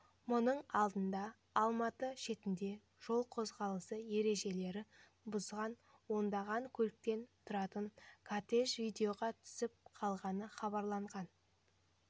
мұның алдында алматы шетінде жол қозғалысы ережелері бұзған ондаған көліктен тұратын кортеж видеоға түсіп қалғаны хабарланған